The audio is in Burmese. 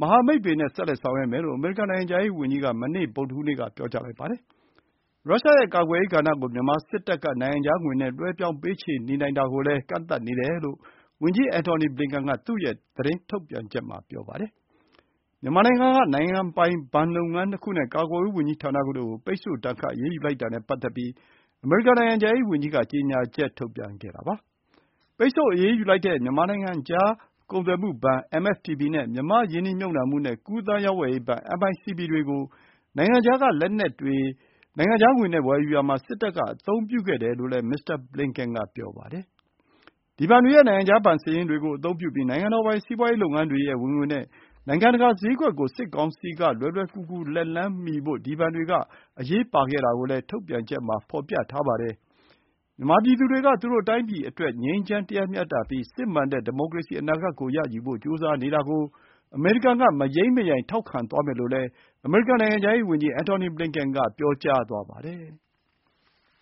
မဟာမိတ်တွေနဲ့ ဆက်လက်ဆောင်ရွက်မယ်လို့ အမေရိကန် နိုင်ငံခြားရေးဝန်ကြီးက မနေ့ဗုဒ္ဓဟူးနေ့မှာ ပြောကြားလိုက်ပါတယ်။ ရုရှားရဲ့ကာကွယ်ရေးကဏ္ဍ ကို မြန်မာစစ်တပ်က နိုင်ငံခြားငွေနဲ့ လွှဲပြောင်းပေးချေနေနိုင်တာကိုလည်း ကန့်သတ်နေတယ်လို့ ဝန်ကြီး အန်ထော်နီဘလင်ကန်က သူ့ရဲ့ သတင်းထုတ်ပြန်ချက်မှာ ပြောပါတယ်။ မြန်မာနိုင်ငံက နိုင်ငံပိုင် ဘဏ်လုပ်ငန်း ၂ ခုနဲ့ ကာကွယ်ရေးဝန်ကြီးဌာနတို့ကို ပိတ်ဆို့ဒဏ်ခတ် အရေးယူ လိုက်တာနဲ့ ပတ်သက်ပြီး အမေရိကန်နိုင်ငံခြားရေး ဝန်ကြီးကကြေညာချက်ထုတ်ပြန် ခဲ့တာဖြစ်ပါတယ်။ ပိတ်ဆို့အရေးယူလိုက်တဲ့ မြန်မာ့နိုင်ငံခြား ကုန်သွယ်မှုဘဏ် (MFTB) နဲ့ မြန်မာ့ရင်းနှီးမြုပ်နှံမှုနဲ့ ကူးသန်း ရောင်းဝယ်ရေးဘဏ် (MICB)တွေ ကို နိုင်ငံခြား က လက်နက်တွေ ကို နိုင်ငံခြားငွေ နဲ့ ဝယ်ယူရာမှာ စစ်တပ် က အသုံးပြုခဲ့တယ်လို့လည်း မစ္စတာ ဘလင်ကန် က ပြောပါတယ်။ ဒီဘဏ်တွေရဲ့ နိုင်ငံခြားဘဏ် စာရင်းတွေ ကို အသုံးပြုပြီး၊ နိုင်ငံတော်ပိုင် စီးပွါးရေးလုပ်ငန်းတွေရဲ့ ဝင်ငွေ နဲ့ နိုင်ငံတကာ စျေးကွက် ကို စစ်ကောင်စီ က လွယ်လွယ် ကူကူလက်လှမ်းမီဖို့ ဒီ ဘဏ်တွေ က အရေးပါခဲ့တာကိုလည်း ထုတ်ပြန်ချက် မှာ ဖော်ပြထားပါတယ်။ မြန်မာပြည်သူတွေက သူတို့တိုင်းပြည်အတွက် ငြိမ်းချမ်းပြီး တရားမျှတတဲ့ စစ်မှန်တဲ့ ဒီမိုကရေစီ အနာဂတ် ကို ရယူဖို့ ကြိုးစားနေတာ ကို အမေရိကန် က မယိမ်းမယိုင် ထောက်ခံသွားမယ်လို့လည်း အမေရိကန် နိုင်ငံခြားရေး ဝန်ကြီး ဘလက်ကန်က ပြောကြားသွားပါတယ်။